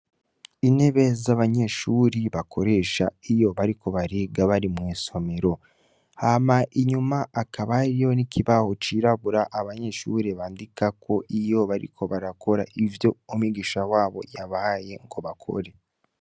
Intebe z'abanyeshure bakoresha iyo bariko bariga bari mw'isomero. Hama inyuma hakaba hariyo n'ikibaho cirabura abanyeshure bandikako iyo bariko barakora ivyo umwigisha wabo yabahaye ngo bakore.